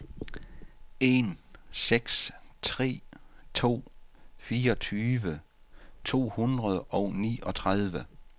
en seks tre to fireogtyve to hundrede og niogtredive